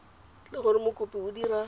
le gore mokopi o dira